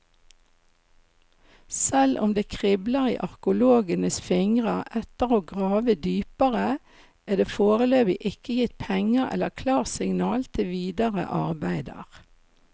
Selv om det kribler i arkeologenes fingre etter å grave dypere, er det foreløpig ikke gitt penger eller klarsignal til videre arbeider.